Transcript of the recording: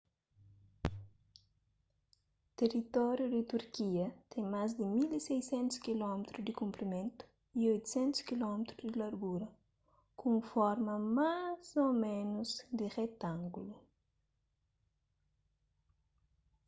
teritóriu di turkia ten más di 1.600 km di konprimentu y 800 km di largura ku un forma más ô ménus di retángulu